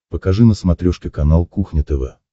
покажи на смотрешке канал кухня тв